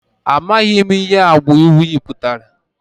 Amaghị m ihe agba uyị pụtara